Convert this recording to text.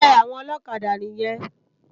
Ègbè áwòn òlòkádà niyèn